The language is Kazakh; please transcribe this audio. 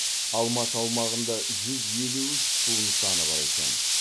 алматы аумағында жүз елу үш су нысаны бар екен